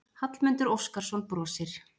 Hallmundur Óskarsson brosir.